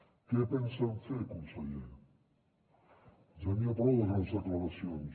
què pensen fer conseller ja n’hi ha prou de grans declaracions